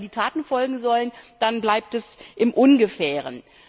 Aber wenn dann die Taten folgen sollen, dann bleibt es im Ungefähren.